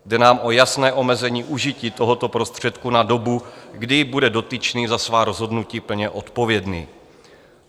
Jde nám o jasné omezení užití tohoto prostředku na dobu, kdy bude dotyčný za svá rozhodnutí plně odpovědný.